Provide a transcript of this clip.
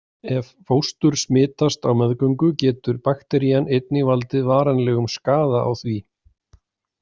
Ef fóstur smitast á meðgöngu getur bakterían einnig valdið varanlegum skaða á því.